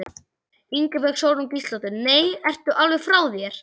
Ingibjörg Sólrún Gísladóttir: Nei, ertu alveg frá þér?